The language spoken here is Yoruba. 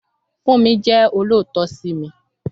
Fúnmi jẹ́ olóòótọ́ sí mi